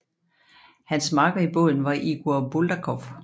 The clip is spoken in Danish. Hans makker i båden var Igor Buldakov